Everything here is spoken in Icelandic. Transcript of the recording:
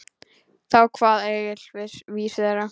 Þá kvað Egill vísu þessa